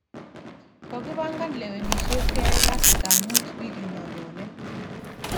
Kokipangan lewenishet keyai kasta mut wikinonyone